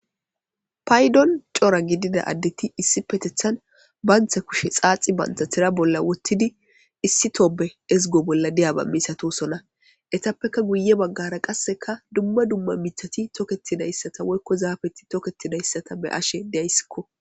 Paydon cora gidida addeti issipetethan bantha kushe xaaxi bantha thira bolla wottidi issi tobe ezgo bolla deyaba misatosona etappeka guye baggara qasseka dumma dumma mithati tokketidayssata woykko zaafeti toketidayssata be'ashe deayssikko.